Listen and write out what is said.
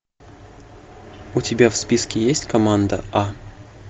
у тебя в списке есть команда а